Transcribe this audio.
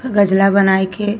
गजला बनाई के --